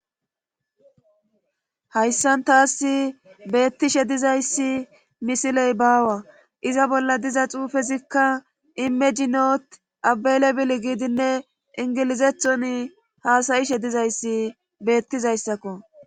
hayssan taas beettishe dizayssi misiley baawa iza bolla diza xuufezikka imejinot abeele bil giidinne ingilizethon haasayishe dizayssi beettizayssakko